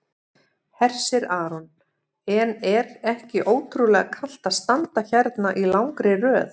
Hersir Aron: En er ekki ótrúlega kalt að standa hérna í langri röð?